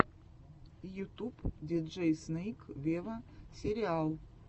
ютуб диджей снейк вево сериал